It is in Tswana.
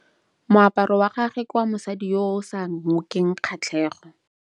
Moaparô wa gagwe ke wa mosadi yo o sa ngôkeng kgatlhegô.